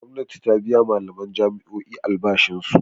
Gwamnati ta biya malaman jami'o'i albashinsu.